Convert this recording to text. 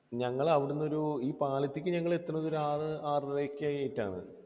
ഞങ്ങൾ അവിടെ നിന്ന് ഒരു, ഈ പാലത്തിലേക്ക് ഞങ്ങൾ എത്തുന്നത് ഒരു ആറ് ആറര ഒക്കെ ആയിട്ടാണ്.